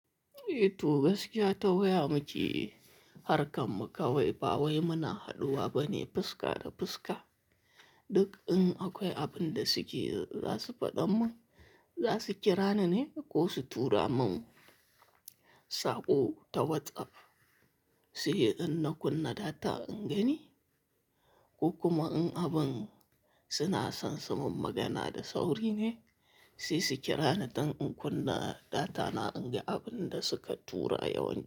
Eee, to gaskiya ta waya muke harkan muka wai ba wai muna haɗuwa bane fuska da fuska. Duk in akwai abin da suke za su faɗa mun, za su kira ni ne ko su tura mun saƙo ta WhatsApp, sai in na kunna data in gani. Ko kuma in abin suna son su mun magana da sauri ne, sai su kira ni don in kunna data na in ga abin da suka tura yawanci.